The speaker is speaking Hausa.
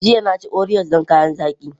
Jiya, na ci Oreos don kayan zaki.